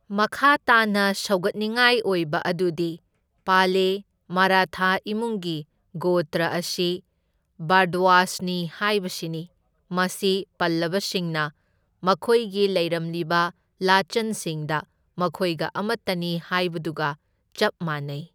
ꯃꯈꯥ ꯇꯥꯅꯥ ꯁꯧꯒꯠꯅꯤꯡꯉꯥꯏ ꯑꯣꯏꯕ ꯑꯗꯨꯗꯤ ꯄꯥꯂꯦ, ꯃꯔꯥꯊꯥ ꯏꯃꯨꯡꯒꯤ ꯒꯣꯇ꯭ꯔ ꯑꯁꯤ ꯚꯥꯔꯗ꯭ꯋꯥꯖꯅꯤ ꯍꯥꯏꯕꯁꯤꯅꯤ, ꯃꯁꯤ ꯄꯜꯂꯕꯁꯤꯡꯅ ꯃꯈꯣꯏꯒꯤ ꯂꯩꯔꯝꯂꯤꯕ ꯂꯥꯆꯟꯁꯤꯡꯗ ꯃꯈꯣꯏꯒ ꯑꯃꯇꯅꯤ ꯍꯥꯏꯕꯗꯨꯒ ꯆꯞ ꯃꯥꯟꯅꯩ꯫